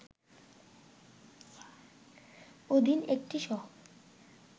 অধীন একটি শহর